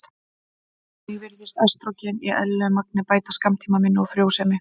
Einnig virðist estrógen í eðlilegu magni bæta skammtímaminni og frjósemi.